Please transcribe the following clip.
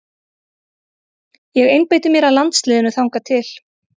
Ég einbeiti mér að landsliðinu þangað til.